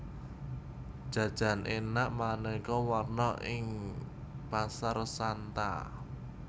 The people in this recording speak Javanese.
Jajan enak maneka warna ana ing Pasar Santa